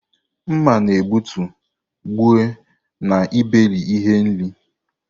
Mma na-egbutu, gbue, na iberi ihe nri.